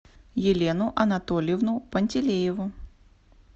елену анатольевну пантелееву